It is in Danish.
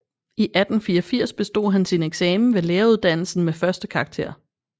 I 1884 bestod han sin eksamen ved læreruddannelsen med førstekarakter